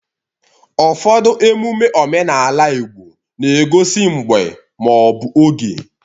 Ụfọdụ emume omenala Igbo na-egosi mgbe ma ọ bụ oge.